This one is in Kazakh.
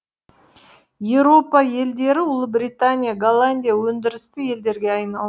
еуропа елдері ұлыбритания голландия өндірісті елдерге айналды